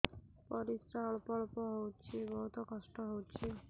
ପରିଶ୍ରା ଅଳ୍ପ ଅଳ୍ପ ହଉଚି ବହୁତ କଷ୍ଟ ହଉଚି